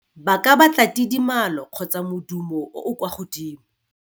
Ba ka batla tidimalo kgotsa modumo o o kwa godimo.